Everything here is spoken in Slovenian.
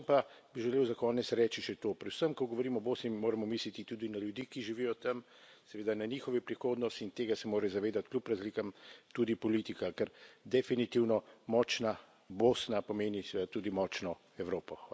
Predvsem pa bi želel za konec reči še to predvsem ko govorimo o Bosni, moramo misliti tudi na ljudi, ki živijo tam, seveda na njihovo prihodnost, in tega se mora zavedati kljub razlikam tudi politika, ker definitivno močna Bosna pomeni seveda tudi močno Evropo.